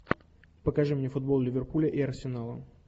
покажи мне футбол ливерпуля и арсенала